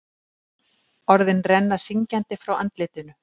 Orðin renna syngjandi frá andlitinu.